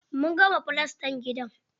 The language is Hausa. Mun gama filastan gidan.